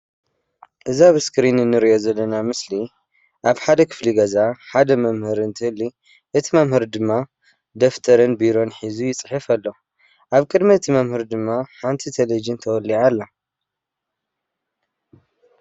እዚ ኣብ ስክሪን እንርእዮ ዘለና ምስሊ ኣብ ሓደ ክፍሊ ገዛ ሓደ መምህር እንትህሊ እቲ መምህር ድማ ደፍተርን ቢሮን ሒዙ ይጽሕፍ ኣሎ። ኣብ ቅድሚ እቲ መምህር ድማ ሓንቲ ተለቨዥን ተወሊዓ ኣላ።